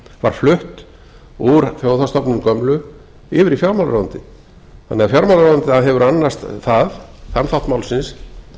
var flutt úr þjóðhagsstofnun gömlu yfir í fjármálaráðuneytið fjármálaráðuneytið hefur því annast þann þátt málsins